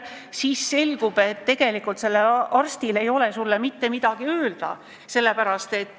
Siis aga selgub, et sellel arstil ei ole sulle mitte midagi öelda.